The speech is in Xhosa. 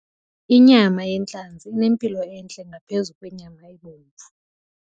Inyama yentlanzi inempilo entle ngaphezu kwenyama ebomvu.